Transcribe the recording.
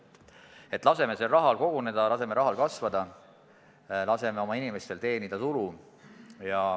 Nii et laseme sel rahal koguneda, laseme rahal kasvada, laseme oma inimestel teenida tulu.